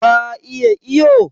Ka iya iyo?